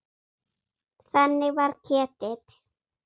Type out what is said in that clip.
Þannig var Ketill.